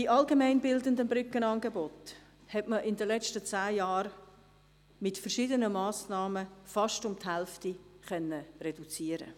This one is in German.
Die allgemeinbildenden Brückenangebote konnte man in den letzten zehn Jahren mit verschiedenen Massnahmen fast um die Hälfte reduzieren.